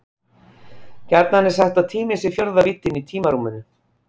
Gjarnan er sagt að tíminn sé fjórða víddin í tímarúminu.